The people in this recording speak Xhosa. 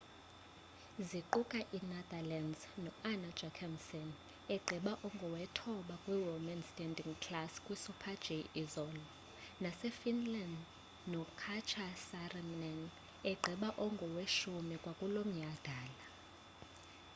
ziquka i-netherlands no-anna jochemsen egqiba engowethoba kwi-women's standing class kwi super-g izolo nase finland no katja saarinen egqiba engoweshumi kwakulomnyadala